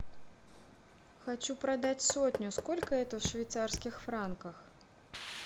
хочу продать сотню сколько это в швейцарских франках